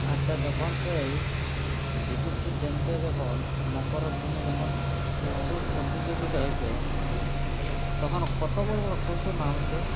আচ্ছা যখন সেই Dvc -র damp - এ যখন মকর দিনে যখন টুসু প্রতিযোগিতা হইত তখন কতো বড়ো বড়ো টুসু নামাইত